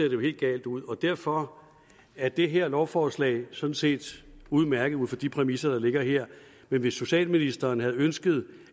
jo helt galt ud derfor er det her lovforslag sådan set udmærket ud fra de præmisser der ligger her men hvis socialministeren havde ønsket